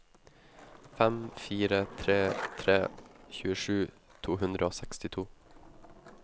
fem fire tre tre tjuesju to hundre og sekstito